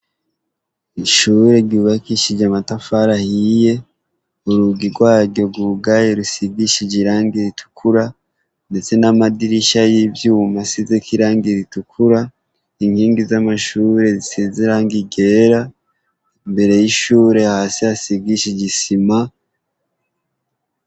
Ishuri ryubakishije amatafari ahiye urugi rwayo rwugaye rusigishije irangi ritukura ndetse n'amadirisha y'ivyuma asizeko irangi ritukura inkingi za mashuri zisize irangi ryera imbere y'ishuri hasi hasigishije isima.